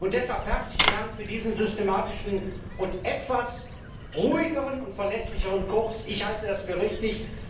Deshalb herzlichen Dank für diesen systematischen und etwas ruhigeren und verlässlicheren Kurs. Ich halte das für richtig.